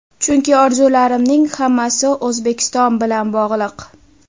Chunki orzularimning hammasi O‘zbekiston bilan bog‘liq.